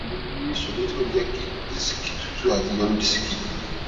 mo ní ìṣòro tí kò ní jẹ kí disiki tútù àti ìyọnu disiki